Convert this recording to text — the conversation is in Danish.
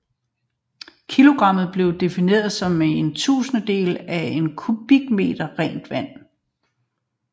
Kilogrammet blev defineret som én tusindedel af én kubikmeter rent vand